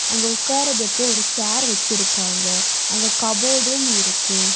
அங்க உக்காரதுக்கு ஒரு சேர் வெச்சிருக்காங்க அங்க கபோர்டும் இருக்கு.